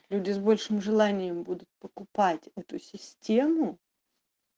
люди с большим желанием будут покупать эту систему